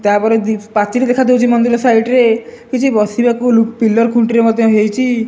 ତାପରେ ପାଚେରୀ ଦେଖାଦେଉଛି ମନ୍ଦିର ସାଇଟ ରେ କିଛି ବସିବାକୁ ପିଲର ଖୁଣ୍ଟିରେ ମଧ୍ୟ ହେଇଚି।